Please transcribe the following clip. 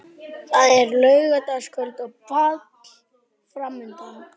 Mamma var ekkert gefin fyrir fisk almennt.